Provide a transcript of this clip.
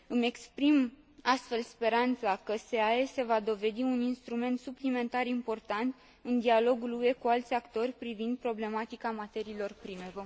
Îmi exprim astfel speranța că SEAE se va dovedi un instrument suplimentar important în dialogul UE cu alți actori privind problematica materiilor prime.